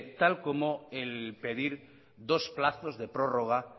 tal como el pedir dos plazos de prórroga